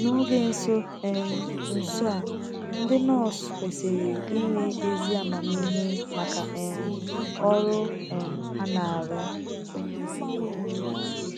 N'oge nso um nso a, ndị nọọsụ kwesiri inwe ezi amamihe maka um ọrụ um ha na-arụ